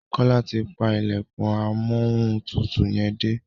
Kola ti pá ilẹkùn Amóhuntutù yén dé.